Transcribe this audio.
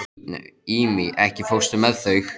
Ími, ekki fórstu með þeim?